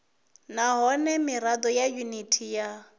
nahone mirado ya yuniti ya